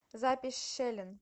запись шелен